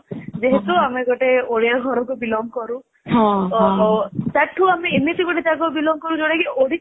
ଯେହେତୁ ଆମେ ଗୋଟେ ଓଡିଆ ଘରରୁ belong କରୁ ସେତୁ ଆମେ ଏମିତି ଗୋଟେ ଜାଗରୁ belong କରୁ ଯୋଉଟା କି ଓଡିଶା